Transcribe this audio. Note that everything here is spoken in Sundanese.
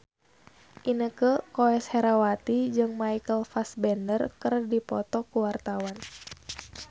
Inneke Koesherawati jeung Michael Fassbender keur dipoto ku wartawan